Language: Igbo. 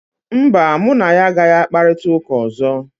mba, mụ na ya agaghị akparịta ụka ọzọ